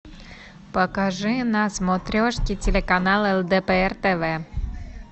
покажи на смотрешке телеканал лдпр тв